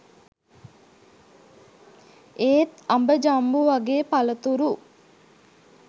ඒත් අඹ ජම්බු වගේ පලතුරු